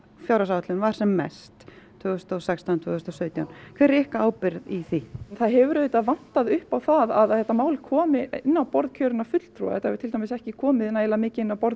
áætlun var sem mest tvö þúsund og sextán tvö þúsund og sautján hver er ykkar ábyrgð í því það hefur auðvitað vantað upp á að þetta mál hafi komið inn á borð kjörinna fulltrúa það hefur til dæmis ekki komið nægilega mikið inn á borð